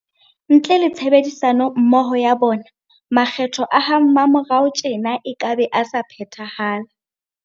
Ntle le tshebedisano mmoho ya bona, makgetho a ha mmamorao tjena ekabe a sa phethahala.